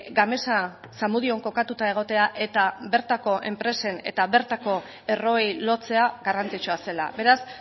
gamesa zamudion kokatuta egotea eta bertako enpresen eta bertako erroei lotzea garrantzitsua zela beraz